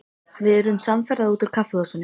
Við urðum samferða út úr kaffihúsinu.